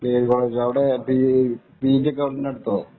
KV college അവിടെ P G ഒക്കെ ഉണ്ടോ എടുത്തോ?